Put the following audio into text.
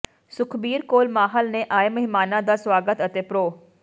ਸੁਖਬੀਰ ਕੌਰ ਮਾਹਲ ਨੇ ਆਏ ਮਹਿਮਾਨਾਂ ਦਾ ਸਵਾਗਤ ਅਤੇ ਪ੍ਰੋ